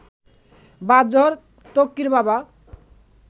বাদ জোহর ত্বকীর বাবা